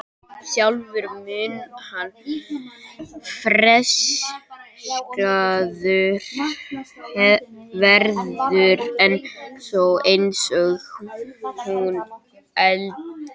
Sjálfur mun hann frelsaður verða, en þó eins og úr eldi.